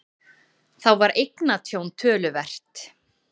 Þá var eignatjón töluvert